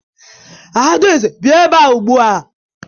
Adaeze bia ebea ugbua